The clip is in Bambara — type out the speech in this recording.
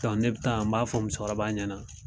Dɔn ne bi taa an b'a fɔ musokɔrɔba ɲɛna